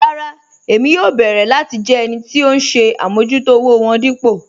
Rárá Ẹ̀mí yóò bẹ̀ẹ̀rẹ̀ láti jẹ́ ẹnì tì ọ̀hun ṣè àmọ̀jútò òwò wọn dípò